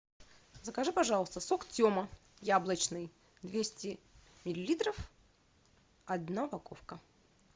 закажи пожалуйста сок тема яблочный двести миллилитров одна упаковка